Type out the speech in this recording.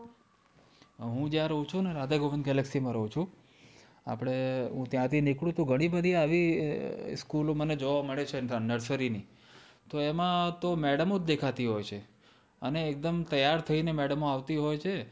હું જ્યાં રહું છું ને, રાધેમોહન galaxy માં રહું છું, આપડે હું ત્યાંથી નીકળું તો ઘણી બધી આવી school ઓ મને જોવા મળે છે nursery ની, તો એમાં તો madam ઓ જ દેખાતી હોય છે! અને એકદમ તૈયાર થઈને madam ઓ આવતી હોય છે!